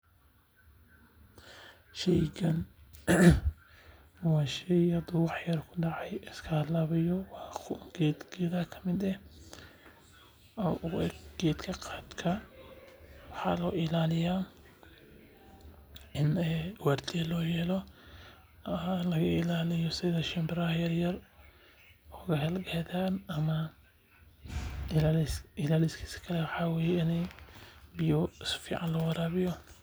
Sheygan waa sheey haduu wax yar kudaco iska halaabayo waa geed geedaha kamid ah oo u eg geedka qaadka waa in la ilaaliyo oo biya sifican loo waraabiyo.